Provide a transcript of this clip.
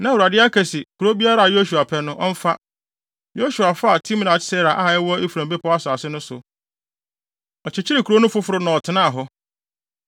Na Awurade aka se kurow biara a Yosua pɛ no, ɔmfa. Yosua faa Timmat-Sera a ɛwɔ Efraim bepɔw asase no so. Ɔkyekyeree kurow no foforo na ɔtenaa hɔ.